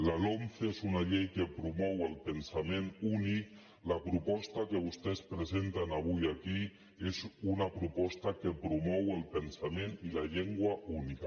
la lomce és una llei que promou el pensament únic la proposta que vostès presenten avui aquí és una proposta que promou el pensament i la llengua única